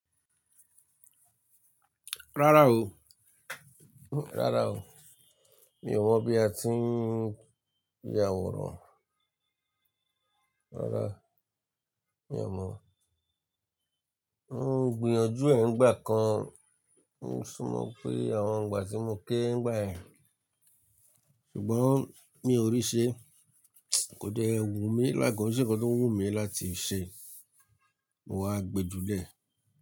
Rárá o, rárá o. Mi ò mọ̀ bí a ti ń ya àwòrán. Rárá, mi ò mọ̀. Mo ń gbìyànjú ẹ ń gbà kan, mo sún mọ pé àwọn ngbà tí mo kére ń gbà yẹ́n, ṣùgbọ́n mi ò rí ṣe. Kò dẹ́ ẹ wù mí lá, kò n se nnkan tó wù mí láti ṣe. Mo wá gbe júlẹ̀